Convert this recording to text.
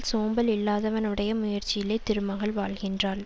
சோம்பல் இல்லாதவனுடைய முயற்சியிலே திருமகள் வாழ்கின்றாள்